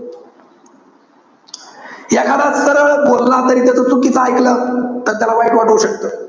एखादा सरळ बोलला तरी त्याच चुकीचं एकल. तर त्याला वाईट वाटू शकत.